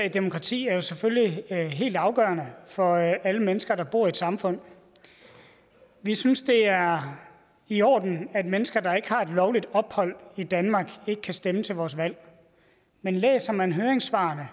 et demokrati er selvfølgelig helt afgørende for alle mennesker der bor i et samfund vi synes det er i orden at mennesker der ikke har lovligt ophold i danmark ikke kan stemme til vores valg men læser man høringssvarene